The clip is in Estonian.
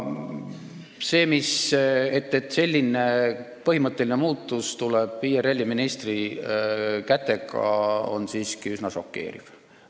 Et selline põhimõtteline muudatus tehakse IRL-i ministri kätega, on siiski üsna šokeeriv.